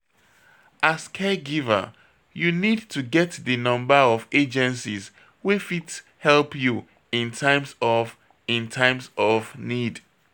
As caregiver, you need to get di number of agencies wey fit help you in times of in times of need